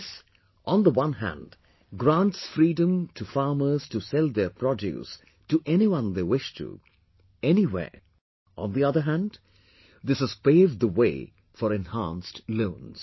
This, on the one hand grants freedom to farmers to sell their produce to anyone they wish to, anywhere; on the other hand, this has paved the way for enhanced loans